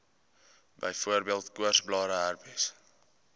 byvoorbeeld koorsblare herpes